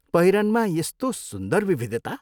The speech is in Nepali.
पहिरनमा यस्तो सुन्दर विविधता!